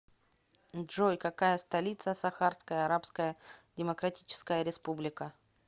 джой какая столица сахарская арабская демократическая республика